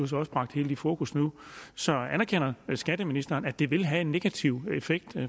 så også bragt helt i fokus nu så anerkender skatteministeren at det vil have en negativ effekt